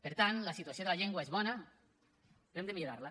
per tant la situació de la llengua és bona però hem de millorar la